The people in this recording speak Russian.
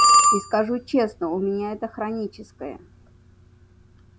и скажу честно у меня это хроническое